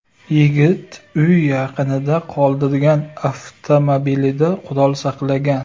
Yigit uy yaqinida qoldirgan avtomobilida qurol saqlagan.